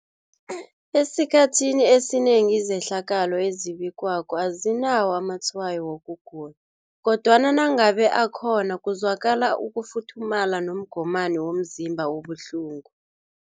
Esikhathini esinengi izehlakalo ezibikwako azinawo amatshwayo wokugula, kodwana nangabe akhona kuzwakala ukufuthumala nomgomani womzimba obuhlungu.